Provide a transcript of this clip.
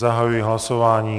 Zahajuji hlasování.